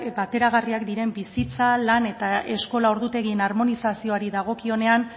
bateragarria diren bizitzak lan eta eskola ordutegien harmonizazioari dagokionean